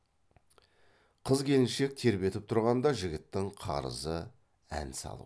қыз келіншек тербетіп тұрғанда жігіттің қарызы ән салу